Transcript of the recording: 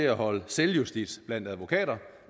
at holde selvjustits blandt advokater